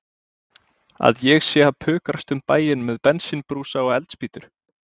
Að ég sé að pukrast um bæinn með bensínbrúsa og eldspýtur.